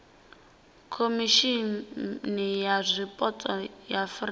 khomishimi ya zwipotso ya afurika